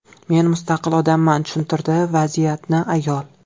Men mustaqil odamman”, tushuntirdi vaziyatni ayol.